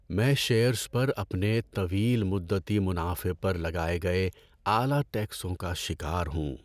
میں شیئرز پر اپنے طویل مدتی منافع پر لگائے گئے اعلی ٹیکسوں کا شکار ہوں۔